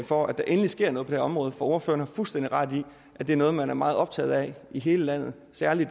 for at der endelig sker noget her område for ordføreren har fuldstændig ret i at det er noget man er meget optaget af i hele landet særlig